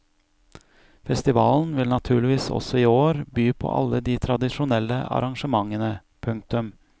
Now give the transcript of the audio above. Festivalen vil naturligvis også i år by på alle de tradisjonelle arrangementene. punktum